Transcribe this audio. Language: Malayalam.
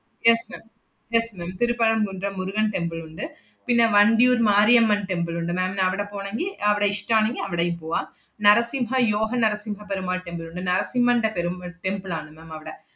yes ma'am yes ma'am Thiruppuram Kundram Murugan temple ഉണ്ട്. പിന്നെ വന്തിയൂർ മാരിയമ്മൻ temple ഉണ്ട്. ma'am ന് അവടെ പോണെങ്കി അവടെ ഇഷ്ടാണെങ്കി അവടെയും പോവാം. നരസിംഹ യോഹ നരസിംഹ പെരുമാൾ temple ഉണ്ട്. നരസിമ്മന്‍റെ പെരും~ temple ആണ് ma'am അവടെ.